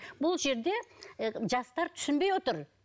бұл жерде і жастар түсінбей отыр